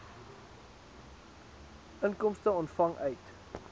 inkomste ontvang uit